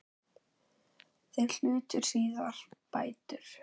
Þeir hlutu síðar bætur.